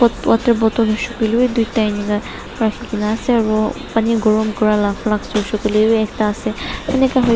water bottle hoishey koilae bi tuita enika ase aro Pani gorom kurila flas bi ase.